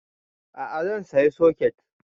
A'a zan saya soket